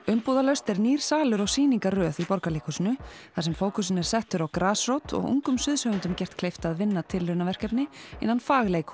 umbúðalaust er nýr salur og sýningarröð í Borgarleikhúsinu þar sem fókusinn er settur á grasrót og ungum gert kleift að vinna tilraunaverkefni innan